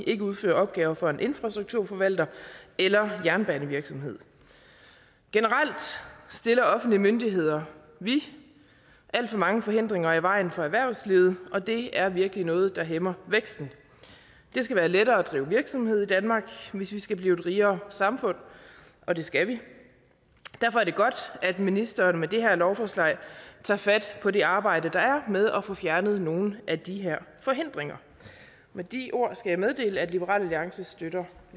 ikke udfører opgaver for en infrastrukturforvalter eller jernbanevirksomhed generelt stiller offentlige myndigheder vi alt for mange forhindringer i vejen for erhvervslivet og det er virkelig noget der hæmmer væksten det skal være lettere at drive virksomhed i danmark hvis vi skal blive et rigere samfund og det skal vi derfor er det godt at ministeren med det her lovforslag tager fat på det arbejde der er med at få fjernet nogle af de her forhindringer med de ord skal jeg meddele at liberal alliance støtter